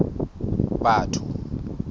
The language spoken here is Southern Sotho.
batho